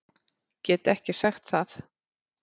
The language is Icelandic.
Get ekki sagt það.